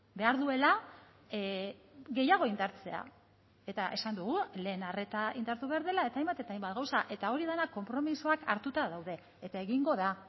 behar duela gehiago indartzea eta esan dugu lehen arreta indartu behar dela eta hainbat eta hainbat gauza eta hori dena konpromisoak hartuta daude eta egingo da